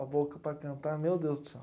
a boca para cantar, meu Deus do céu.